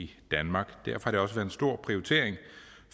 i danmark derfor har det også været stor prioritering